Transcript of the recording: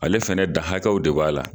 Ale fɛnɛ da hakɛw de b'a la.